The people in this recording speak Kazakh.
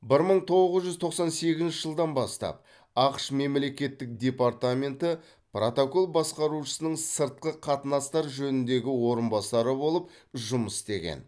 бір мың тоғыз жүз тоқсан сегізінші жылдан бастап ақш мемлекеттік департаменті протокол басқарушысының сыртқы қатынастар жөніндегі орынбасары болып жұмыс істеген